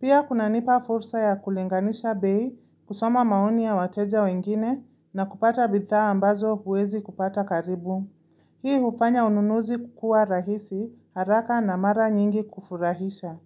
Pia kuna nipa fursa ya kulinganisha bei kusoma maoni ya wateja wengine na kupata bidhaa ambazo huwezi kupata karibu. Hii ufanya ununuzi kukua rahisi haraka na mara nyingi kufurahisha.